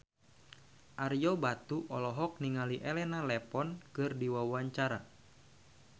Ario Batu olohok ningali Elena Levon keur diwawancara